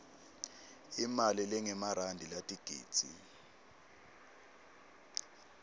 imali lengemarandi latigidzi